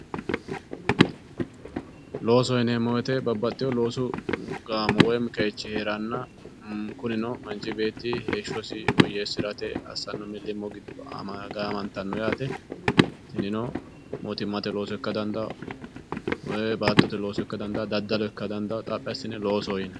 Loosoho yineemmo woyte babbaxewo loosu gaamo woyi qeechi heeranna kurino manchi beetti heeshshosi woyyeesirate assano millimilo giddo gaamantano yaate tinino mootimmate looso ikka dandaano baattote looso ikka dandaano daddalo ikka dandaano xaphi assine loosoho yinanni.